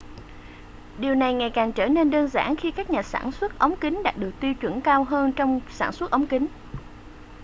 điều này ngày càng trở nên đơn giản khi các nhà sản xuất ống kính đạt được tiêu chuẩn cao hơn trong sản xuất ống kính